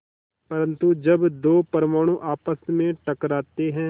परन्तु जब दो परमाणु आपस में टकराते हैं